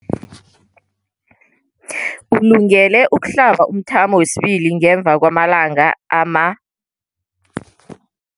Ulungele ukuhlaba umthamo wesibili ngemva kwama-42